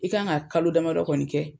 I kan ka kalo damadɔ kɔni kɛ